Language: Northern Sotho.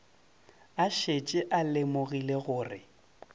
a šetše a lemogile gore